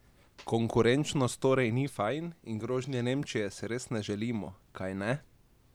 Konkurenčnost torej ni fajn, in grožnje Nemčije si res ne želimo, kajne?